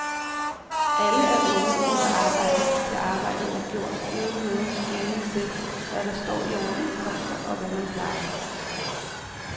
Alle er unge og vil arbejde til arbejdet er gjort uden nogen skelen til, hvad der står i overenskomster, og hvad man plejer.